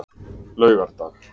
laugardag